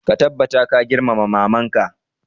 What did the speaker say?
Ka tabbata ka girmama maman ka!